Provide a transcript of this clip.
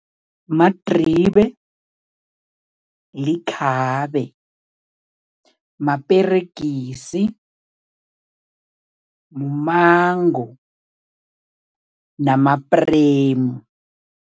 Madribe, likhabe, maperegisi, mumango namapremu.